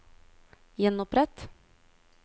gjenopprett